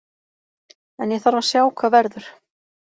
En ég þarf að sjá hvað verður.